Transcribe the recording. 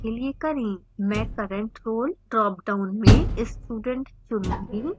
मैं current role dropdown में student चुनूँगी